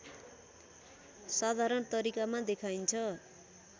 साधारण तरिकामा देखाइन्छ